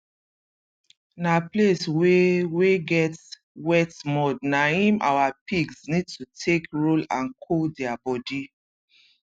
na place wey wey get wet mud na im our pigs need to take roll and cool dia body